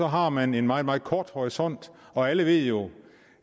har man en meget meget kort horisont og alle ved jo